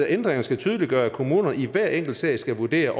ændringerne skal tydeliggøre at kommunerne i hver enkelt sag skal vurdere